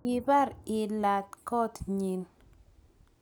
kibar ilat koot nyin